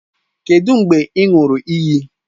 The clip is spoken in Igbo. Kedụ mgbe ị ṅụrụ iyi?